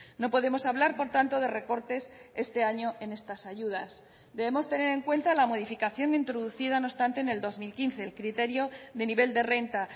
no podemos hablar por tanto de recortes este año en estas ayudas debemos tener en cuenta la modificación introducida no obstante en el dos mil quince el criterio de nivel de renta